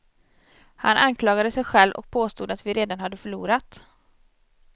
Han anklagade sig själv, och påstod att vi redan hade förlorat.